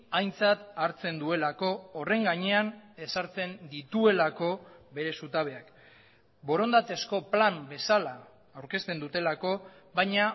aintzat hartzen duelako horren gainean ezartzen dituelako bere zutabeak borondatezko plan bezala aurkezten dutelako baina